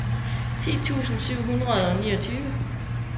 ti tusind syv hundrede og niogtyve